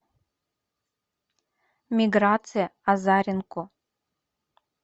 миграция азаренко